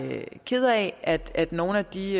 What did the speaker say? ked af at nogle af de